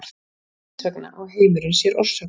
þess vegna á heimurinn sér orsök